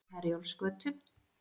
Herjólfsgötu